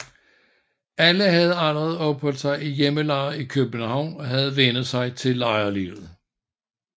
Alle havde allerede opholdt sig i hjælpelejre i København og havde vænnet sig til lejrlivet